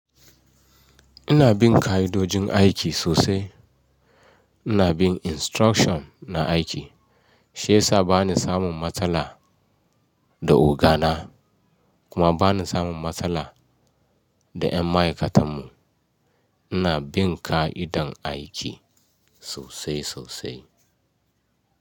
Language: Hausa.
Ina bin ka'idojin aiki sosai. Ina bin instruction na aiki. Shi ya sa bani samun matsala da oga na kuma bani samun matsala da 'yan ma'aikatan mu. Ina bin ka'idan aiki sosai sosai.